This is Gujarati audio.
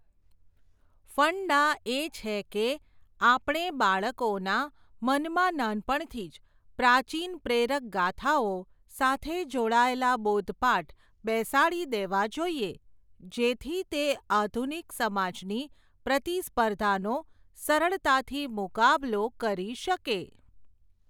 ફંડા એ છે કે, આપણે બાળકોના, મનમાં નાનપણથીજ, પ્રાચીન પ્રેરક ગાથાઓ, સાથે જોડાયેલા બોધપાઠ, બેસાડી દેવા જોઈએ, જેથી તે આધુનિક સમાજની, પ્રતિસ્પર્ધાનો, સરળતાથી મુકાબલો કરી શકે.